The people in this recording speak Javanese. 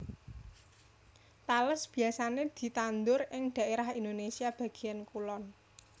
Tales biyasané ditandur ing dhaérah Indonésia bagéyan kulon